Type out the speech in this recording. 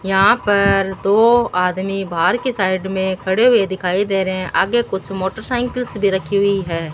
यहां पर दो आदमी बाहर की साइड में खड़े हुए दिखाई दे रहे हैं आगे कुछ मोटरसाइकिल से भी रखी हुई है।